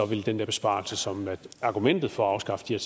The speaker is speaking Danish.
vil den der besparelse som er argumentet for at afskaffe de